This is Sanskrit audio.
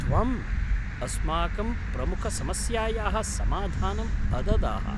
त्वम्, अस्माकं प्रमुखसमस्यायाः समाधानम् अददाः।